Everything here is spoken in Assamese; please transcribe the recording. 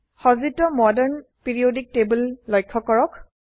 সজ্জিত মডাৰ্ন পিৰিয়ডিক টেবল লক্ষ্য কৰক